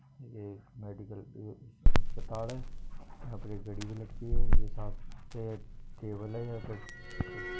यह एक मेडिकल अस्पताल हैं यहा पे एक घड़ी लटकी हैं ये टेबल हैं यहा पे--